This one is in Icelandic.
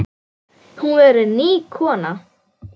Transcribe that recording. Hún verður ný kona.